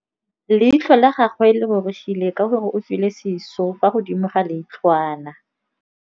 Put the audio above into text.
Leitlhô la gagwe le rurugile ka gore o tswile sisô fa godimo ga leitlhwana.